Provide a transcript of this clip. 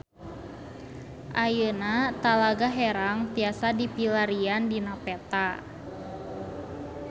Ayeuna Talaga Herang tiasa dipilarian dina peta